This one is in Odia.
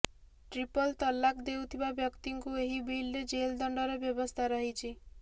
ଟ୍ରିପଲ ତଲାକ ଦେଉଥିବା ବ୍ୟକ୍ତିଙ୍କୁ ଏହି ବିଲ୍ରେ ଜେଲ ଦଣ୍ଡର ବ୍ୟବସ୍ଥା ରହିଛି